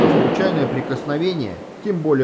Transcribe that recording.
а случайное прикосновение тем более